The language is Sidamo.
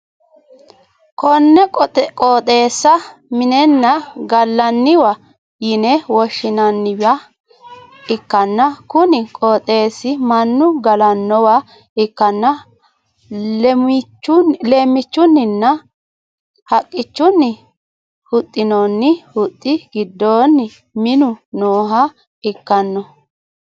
konne qooxeessa minenna gallanniwa yine woshshi'nanniwa ikkanna, kuni qooxeessi mannu galannowa ikkanna leemmichunninna haqqunni huxxinoonni huxxi giddoonni minu nooha ikkanno.